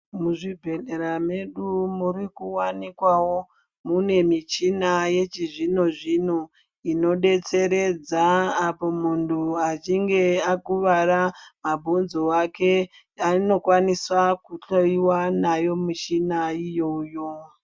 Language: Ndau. Muzvibhehlera mwedu murikuwanikwawo mune muchina yechizvino inodetseredza apo muntu achinge akuvara mabhonzo ake unokwanisa kuhloyiwa ndiyona mishina iyoyo